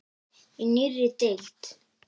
Í nýrri deild.